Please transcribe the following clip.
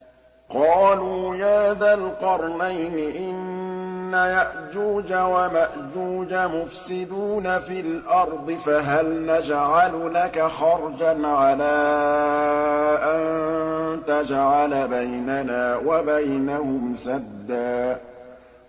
قَالُوا يَا ذَا الْقَرْنَيْنِ إِنَّ يَأْجُوجَ وَمَأْجُوجَ مُفْسِدُونَ فِي الْأَرْضِ فَهَلْ نَجْعَلُ لَكَ خَرْجًا عَلَىٰ أَن تَجْعَلَ بَيْنَنَا وَبَيْنَهُمْ سَدًّا